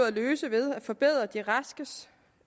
at løse ved at forbedre de raske